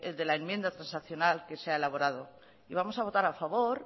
de la enmienda transaccional que se ha elaborado y vamos a votar a favor